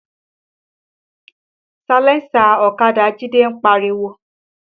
Salẹńsà ọ̀kadà Jide ń pariwo